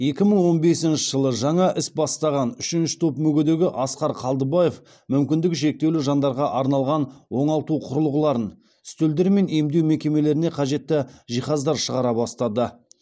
екі мың он бесінші жылы жаңа іс бастаған үшінші топ мүгедегі асқар қалдыбаев мүмкіндігі шектеулі жандарға арналған оңалту құрылғыларын үстелдер мен емдеу мекемелеріне қажетті жиһаздар шығара бастады